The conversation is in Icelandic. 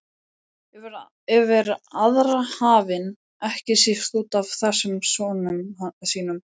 Yfir aðra hafinn, ekki síst útaf þessum sonum sínum.